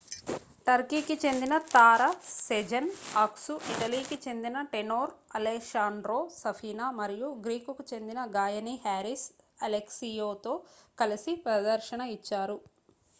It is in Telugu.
టర్కీకి చెందిన తార సెజెన్ అక్సు ఇటలీకి చెందిన టేనోర్ అలెశాండ్రో సఫీనా మరియు గ్రీకుకు చెందిన గాయని హారిస్ అలెక్సియోతో కలిసి ప్రదర్శన ఇచ్చారు